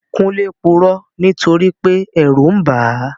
Kúnlé purọ́ nítorípé ẹ̀rù n bàá